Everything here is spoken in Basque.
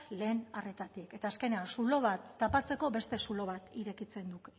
lehen arretatik eta azkenean zulo bat tapatzeko beste zulo bat irekitzen da